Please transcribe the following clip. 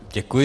Děkuji.